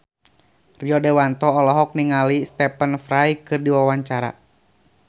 Rio Dewanto olohok ningali Stephen Fry keur diwawancara